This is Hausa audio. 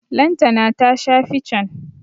Lantana ta sha fican.